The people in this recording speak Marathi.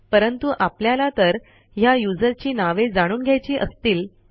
परंतु आपल्याला तर ह्या युजरची नावे जाणून घ्यायची असतील तर